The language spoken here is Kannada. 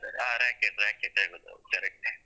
ಆ racket racket ಹೇಳುದ್ ಹೌದ್ correct .